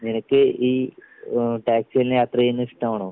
നിനക്ക് ഈ ഉം ടാക്സിയിൽ യാത്ര ചെയ്യുന്നത് ഇഷ്ടമാണോ?